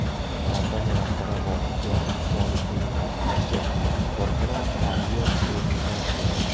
Kompaniya rahbari G‘ofurjon Usmonovning ta’kidlashicha, korxona karyer o‘rnida joylashgan.